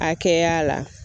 A kɛya la.